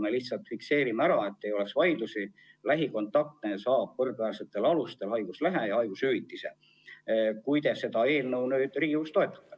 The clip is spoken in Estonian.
Me lihtsalt fikseerime ära, et ei oleks vaidlusi: lähikontaktne saab võrdväärsetel alustel haiguslehe ja talle makstakse haigushüvitist, kui te seda eelnõu Riigikogus toetate.